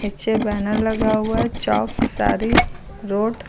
पीछे बैनर लगा हुआ है चौक सारी रोड --